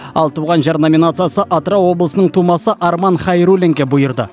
ал туған жер номинациясы атырау облысының тумасы арман хайруллинге бұйырды